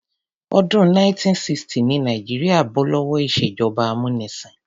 Ọdún 1960 ni Nàìjíríà bó lówó ìṣèjọba amúnisìn.